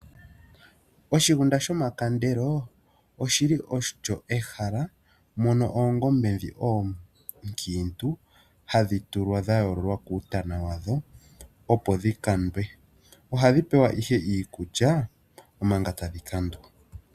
Oshigunda shomakandelo oshili olyo ehala mono oongombe ndhi onkiintu hadhi tulwa dhayoololwa kuutana wadho opo dhi kandwe. Ohadhi pewa ihe iikulya omanga tadhi kandwa.